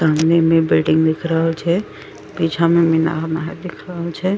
सामने में वेडिंग दिख रहल छै पीछा मा मीनार महा दिख रहल छै ।